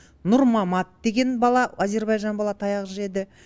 нұрмамат деген бала әзербайжан бала таяқ жеді